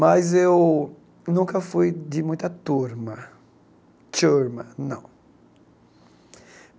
Mas eu nunca fui de muita turma, não.